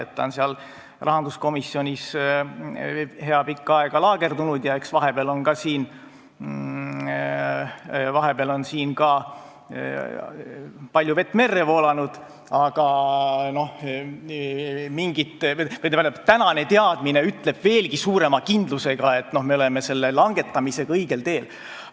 Ta on rahanduskomisjonis hea pikka aega laagerdunud ja eks vahepeal ole palju vett merre voolanud, aga tänane teadmine ütleb veelgi suurema kindlusega, et me oleme selle langetamisega õigel teel.